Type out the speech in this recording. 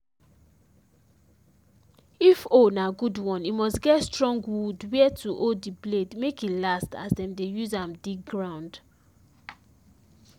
if hoe na good one e must get strong wood where to hold the blade make e last as them dey use am dig ground